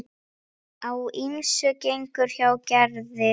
Á ýmsu gengur hjá Gerði.